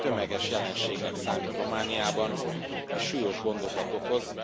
Ez ma már tömeges jelenségnek számít Romániában és súlyos gondokat okoz.